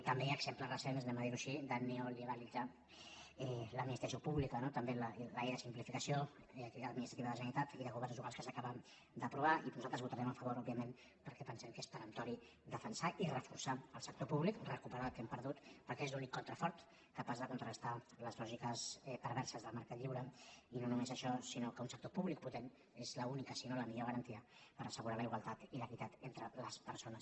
també hi ha exemples recents anem a dir·ho així de neoliberalitzar l’administració pública no també la llei de simplificació de l’activitat administrativa de la generalitat i de governs locals que s’acaba d’apro·var i que nosaltres votarem a favor òbviament perquè pensem que és peremptori defensar i reforçar el sector públic recuperar el que hem perdut perquè és l’únic contrafort capaç de contrastar les lògiques perverses del mercat lliure i no només això sinó que un sector públic potent és l’única si no la millor garantia per as·segurar la igualtat i l’equitat entre les persones